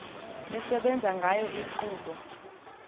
esebenza ngayo inkqubo